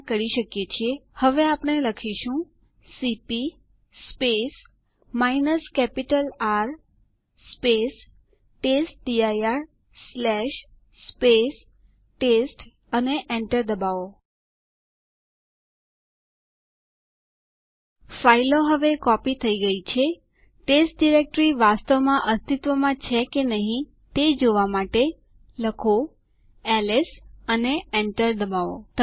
આદેશ દાખલ કરો ટર્મિનલ ઉપર su space hyphen space duck લખો અને Enter દબાવો